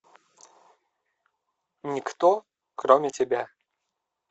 никто кроме тебя